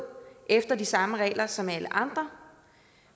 efter de samme regler som alle andre